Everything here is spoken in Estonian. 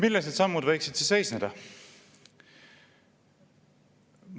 Milles need sammud võiksid siis seisneda?